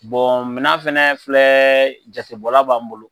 minɛn fana filɛ jatebɔla b'an bolo.